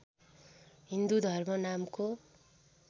हिन्दू धर्म नामको